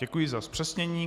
Děkuji za zpřesnění.